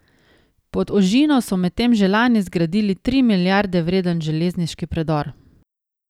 Pod ožino so medtem že lani zgradili tri milijarde vreden železniški predor.